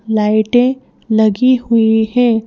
लाइटें लगी हुई हैं।